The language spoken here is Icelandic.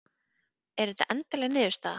Er þetta endanleg niðurstaða?